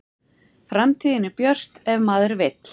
Framtíðin er björt ef maður vill